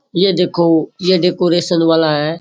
ये देखो ये डेकोरेशन वाला है।